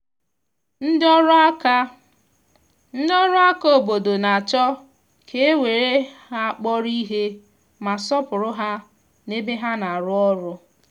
ndị ọrụ aka ndị ọrụ aka obodo na-achọ ka e were ha kpọrọ ihe ma sọọpụrụ ha n’ebe ha na-arụ ọrụ.